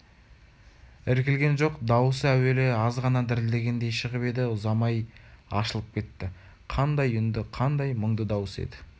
іркілген жоқ даусы әуелі аз ғана дірілдегендей шығып еді ұзамай ашылып кетті қандай үнді қандай мұңды дауыс еді